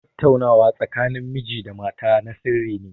Tattaunawa tsakanin miji da mata na sirri ne.